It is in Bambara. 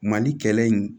Mali kɛlɛ in